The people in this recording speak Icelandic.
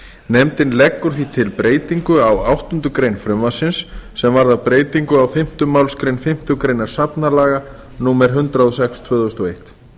nefndin leggur því til breytingu á áttundu greinar frumvarpsins sem varðar breytingu á fimmtu málsgrein fimmtu grein safnalaga númer hundrað og sex tvö þúsund og eitt